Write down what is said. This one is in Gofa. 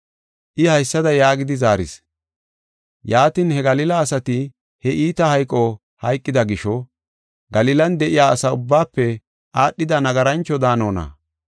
I haysada yaagidi zaaris; “Yaatin he Galila asati he iita hayqo hayqida gisho, Galilan de7iya asa ubbaafe aadhida nagarancho daanonna?